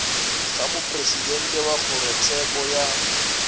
ga mopresidente wa kgorotsheko ya